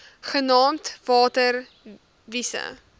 genaamd water wise